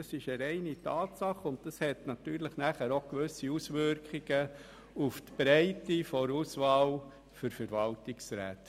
Das ist eine reine Tatsache und hat natürlich auch gewisse Auswirkungen auf die Breite der Auswahl für Verwaltungsräte.